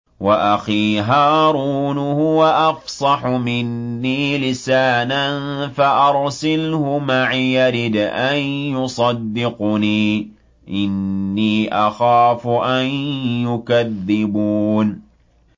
وَأَخِي هَارُونُ هُوَ أَفْصَحُ مِنِّي لِسَانًا فَأَرْسِلْهُ مَعِيَ رِدْءًا يُصَدِّقُنِي ۖ إِنِّي أَخَافُ أَن يُكَذِّبُونِ